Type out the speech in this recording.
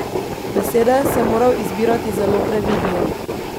Besede sem moral izbirati zelo previdno.